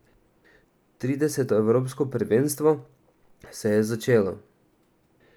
Trideseto evropsko prvenstvo se je začelo.